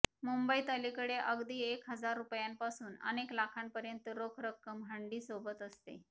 मुंबईत अलीकडे अगदी एक हजार रुपयांपासून अनेक लाखांपर्यंत रोख रक्कम हंडीसोबत असते